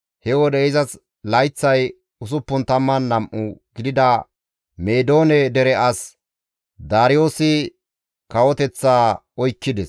He wode izas layththay 62 gidida Meedoone dere as Daariyoosi kawoteththa oykkides.